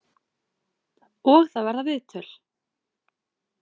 Og það verða viðtöl.